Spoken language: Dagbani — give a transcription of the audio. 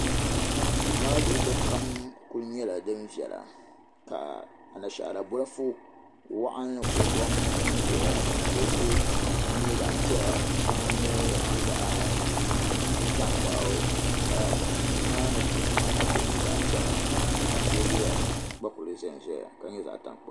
Duu maa luɣuli kam kuli nyela din viɛla ka anashaara bolofu waɣinli kuli gɔŋ n ʒeya ka kuɣusi maa nye zaɣpiɛla ka shɛŋa nye zaɣtankpaɣu ka duu maa ni kuɣu shɛŋa gba nye zaɣpiɛla ka teebuya gba kuli ʒenʒeya ka nye zaɣtankpaɣu.